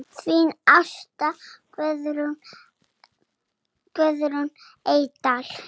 Þín Ásta Guðrún Eydal.